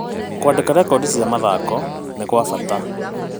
Kũandĩka rekondi cia mathako nĩ gwa bata.